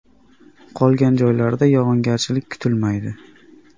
Qolgan joylarda yog‘ingarchilik kutilmaydi.